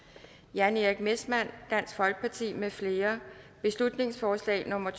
jan erik messmann mfl beslutningsforslag nummer